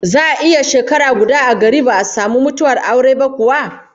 Za'a iya shekara guda a gari ba'a samu mutuwar aure ba kuwa?